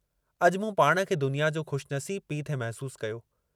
अॼु मूं पाण खे दुनिया जो खु़शनसीबु पीउ थे महसूस कयो।